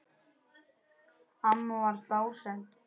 Amma var dásemd.